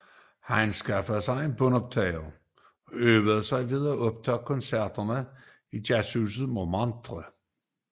Han anskaffede sig en båndoptager og øvede sig ved at optage koncerterne i Jazzhus Montmartre